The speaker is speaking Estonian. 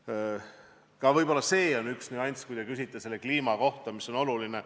Ka see võib olla üks nüansse kliima puhul, mis on oluline.